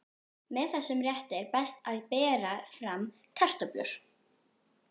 Með þessum rétti er best að bera fram kartöflur.